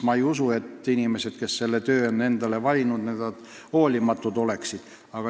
Ma ei usu, et need inimesed, kes on selle töö endale valinud, oleksid hoolimatud.